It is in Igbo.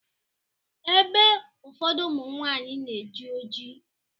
Ébé ụfọdụ ụmụnwanyị na-eji oji.